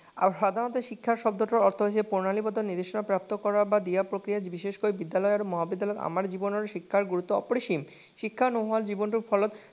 সাধাৰণতে শিক্ষা শব্দটো অৰ্থ হৈছে প্ৰণালীবদ্ধ নিৰ্দিষ্ট প্ৰাপ্ত কৰা বা দিয়া প্ৰক্ৰিয়া বিশেষকৈ বিদ্যালয় আৰু মহাবিদ্যালয়ৰ আমাৰ জীৱনৰ শিক্ষাৰ গুৰুত্ব অপৰিসীম। শিক্ষা নোহোৱা জীৱন তো ফলত